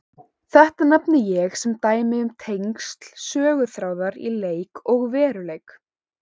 Þetta nefni ég sem dæmi um tengsl söguþráðar í leik og veruleik.